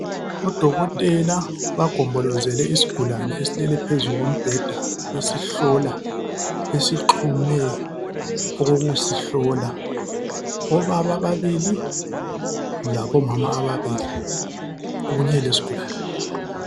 Odokotela bagombolozele isigulani esilele phezu kombheda besihlola besixhume okokusihlola, obaba babili labomama ababili kunye lesigulani.